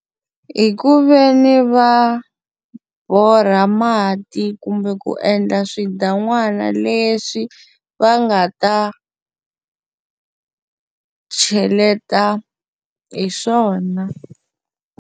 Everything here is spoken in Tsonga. Hi ku ve ni va borha mati kumbe ku endla swidan'wana leswi va nga ta cheleta hi swona.